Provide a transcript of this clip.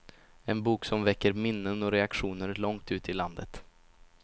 En bok som väcker minnen och reaktioner långt ut i landet.